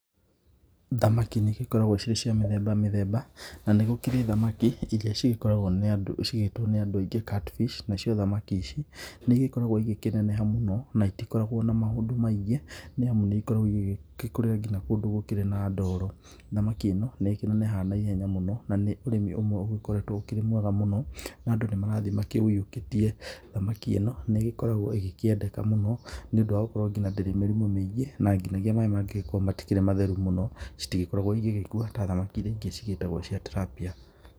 Thamaki nĩ igĩkoragwo cirĩ cia mĩthemba mĩthemba, nanĩ gũkĩrĩ thamaki irĩa cigĩĩtwo nĩ andũ aingĩ catfish]. Na cio thamaki ici nĩ igĩkoragwo igĩkĩneneha mũno na itikoragwo na maũndũ maingĩ, nĩ amu nĩ igĩkoragwo igĩgĩkũrĩra nginya kũndũ gũkĩrĩ na ndoro. Thamaki ĩno nĩ ĩkĩnenehaga na ihenya mũno na nĩ ũrĩmi ũmwe ũgĩkoretwo ũkĩrĩ mwega mũno na andũ nĩ marathiĩ makĩũyiũkĩtie. Thamaki ĩno nĩ ĩgĩkoragwo ĩgĩkĩendeka mũno, nĩ ũndũ wa gũkorwo nginya ndĩrĩ mĩrimũ mĩingĩ na nginyagia maaĩ mangĩgĩkorwo matikĩrĩ matheru mũno citigĩkorwo igĩgĩkua ta thamaki irĩa ingĩ cigĩĩtagwo cia Tilapia.